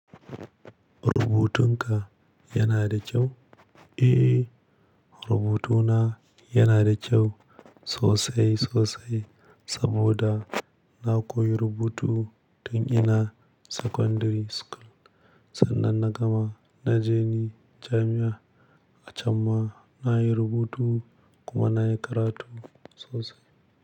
Rubutun ka yana da kyau? Eh, rubutuna yana da kyau sosai sosai saboda na koyi rubutu tun ina secondary school. Sannan na gama na je ni jami'a a can ma na yi rubutu kuma na yi karatu sosai.